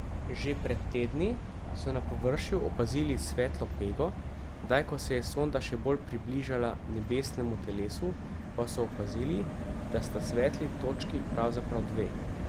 Že pred tedni so na površju opazili svetlo pego, zdaj ko se je sonda še bolj približala nebesnemu telesu, pa so opazili, da sta svetli točki pravzaprav dve.